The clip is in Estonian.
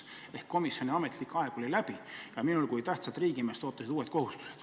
Ehk komisjoni istungi ametlik aeg oli läbi ja mind kui tähtsat riigimeest ootasid uued kohustused.